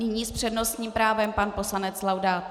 Nyní s přednostním právem pan poslanec Laudát.